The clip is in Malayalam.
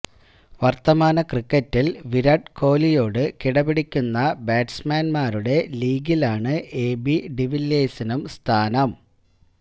വർത്തമാന ക്രിക്കറ്റിൽ വിരാട് കോലിയോട് കിട പിടിക്കുന്ന ബാറ്റ്സ്മാൻമാരുടെ ലീഗിലാണ് എ ബി ഡിവില്ലിയേഴ്സിനും സ്ഥാനം